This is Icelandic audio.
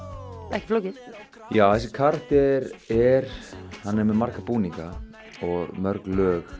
ekki flókið já þessi karakter er hann er með marga búninga og mörg lög